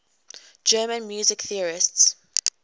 german music theorists